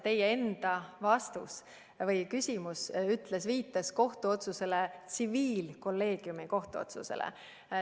Teie enda küsimus viitas ka tsiviilkolleegiumi kohtuotsusele.